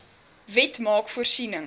wet maak voorsiening